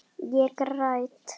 Ég græt.